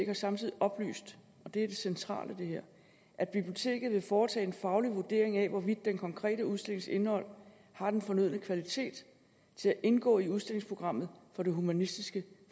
har samtidig oplyst og det er det centrale i det her at biblioteket vil foretage en faglig vurdering af hvorvidt den konkrete udstillings indhold har den fornødne kvalitet til at indgå i udstillingsprogrammet for det humanistiske